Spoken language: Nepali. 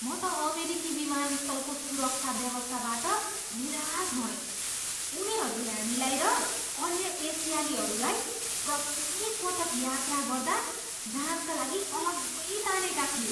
म त अमेरिकी विमानस्थलको सुरक्षा व्यवस्थाबाट निराश भएँ, उनीहरूले हामीलाई र अन्य एसियालीहरूलाई प्रत्येकपटक यात्रा गर्दा जाँचका लागि अलग्गै तानेका थिए।